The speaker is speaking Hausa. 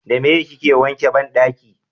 da meye kika wanke banɗaki?